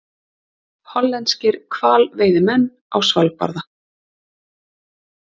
Hollenskir hvalveiðimenn á Svalbarða.